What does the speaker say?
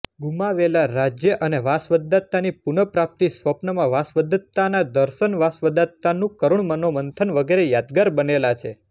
ગુમાવેલા રાજ્ય અને વાસવદત્તાની પુનપ્રાપ્તિ સ્વપ્નમાં વાસવદત્તાનાં દર્શન વાસવદત્તાનું કરુણ મનોમંથન વગેરે યાદગાર બનેલા છે